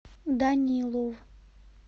данилов